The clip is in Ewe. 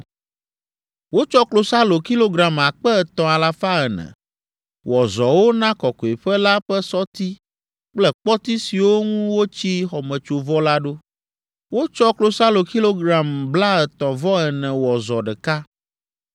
Wotsɔ klosalo kilogram akpe etɔ̃ alafa ene (3,400) wɔ zɔwo na kɔkɔeƒe la ƒe sɔti kple kpɔti siwo ŋu wotsi xɔmetsovɔ la ɖo. Wotsɔ klosalo kilogram blaetɔ̃-vɔ-ene wɔ zɔ ɖeka.